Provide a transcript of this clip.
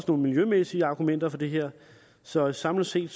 nogle miljømæssige argumenter for det her så samlet set